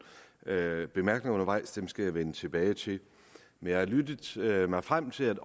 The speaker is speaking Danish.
bemærkninger undervejs og dem skal jeg vende tilbage til men jeg har lyttet mig frem til at